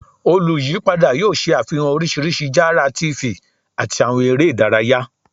Oluyipada yoo ṣe afihan oriṣiriṣi jara TV ati awọn ere idaraya